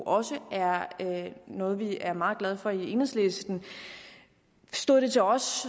også er noget vi er meget glade for i enhedslisten stod det til os